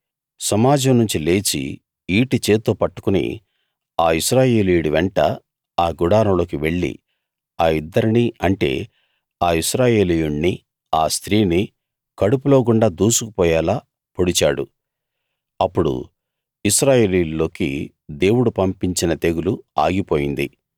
సమాజం నుంచి లేచి ఈటె చేత్తో పట్టుకుని ఆ ఇశ్రాయేలీయుడి వెంట ఆ గుడారంలోకి వెళ్లి ఆ ఇద్దరినీ అంటే ఆ ఇశ్రాయేలీయుణ్ణీ ఆ స్త్రీనీ కడుపులో గుండా దూసుకు పోయేలా పొడిచాడు అప్పుడు ఇశ్రాయేలీయుల్లోకి దేవుడు పంపించిన తెగులు ఆగిపోయింది